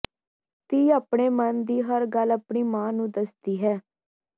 ਧੀ ਆਪਣੇ ਮਨ ਦੀ ਹਰ ਗੱਲ ਆਪਣੀ ਮਾਂ ਨੂੰ ਦੱਸਦੀ ਹੈ